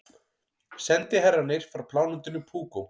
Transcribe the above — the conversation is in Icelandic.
Sendiherrarnir frá plánetunni Púkó.